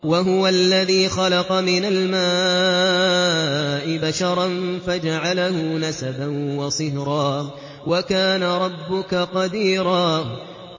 وَهُوَ الَّذِي خَلَقَ مِنَ الْمَاءِ بَشَرًا فَجَعَلَهُ نَسَبًا وَصِهْرًا ۗ وَكَانَ رَبُّكَ قَدِيرًا